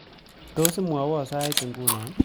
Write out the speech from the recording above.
Tos imwawon sait nguno